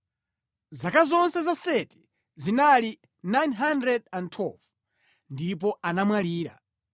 Zaka zonse za Seti zinali 912 ndipo anamwalira.